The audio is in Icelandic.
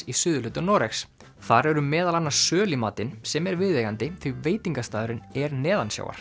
í suðurhluta Noregs þar eru meðal annars söl í matinn sem er viðeigandi því veitingastaðurinn er